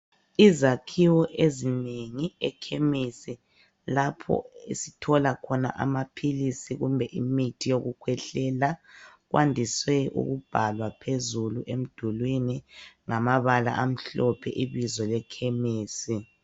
Izakhiwo ezinengi ekhemisi lapho esithola khona amaphilisi kumbe imithi yokukhwehlela kwandiswe ukubhalwa phezulu emdulini ngamabala amhlophe ibizo lekhemisi .